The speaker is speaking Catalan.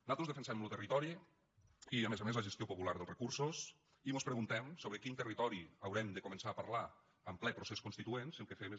nosaltres defensem lo territori i a més a més la gestió popular dels recursos i mos preguntem sobre quin territori haurem de començar a parlar en ple procés constituent si el que fem és